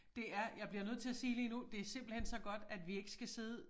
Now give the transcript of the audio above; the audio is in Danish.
Det er jeg bliver nødt til at sige lige nu det simpelthen så godt at vi ikke skal sidde